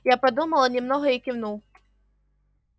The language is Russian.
я подумала немного и кивнул